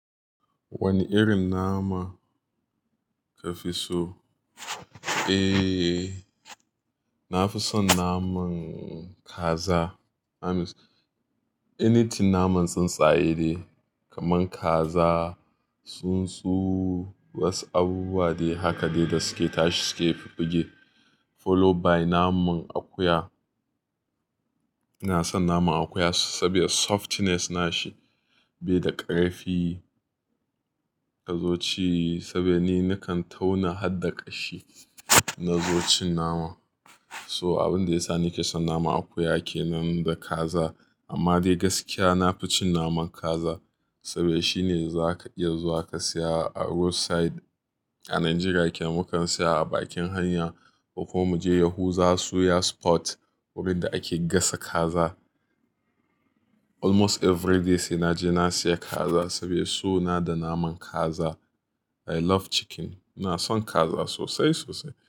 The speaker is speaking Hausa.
Wane irin nama kafi so? Eh, nafi son naman kaza. I mean, anything naman tsuntsaye dai kamar kaza, tsuntsu, wasu abubuwa dai haka dai da suke tashi suke fuffuge. Followed by naman akuya. Ina san naman akuya saboda softness nashi, bai da ƙarfi idan zo ci saboda ni nakan tauna har da ƙashi na zo cin nama. So abin da yasa nike son naman akuya kenan da kaza. Amma dai gaskiya nafi cin naman kaza saboda shine zaka iya zuwa ka saya a road side. A Najeriya ake, mukan saya a bakin hanya ko kuma mu je Yahuza suya spot wurin da ake gasa kaza. Almost everyday sai naje na siya kaza saboda so na da naman kaza. I love chicken. Na son kaza sosai sosai.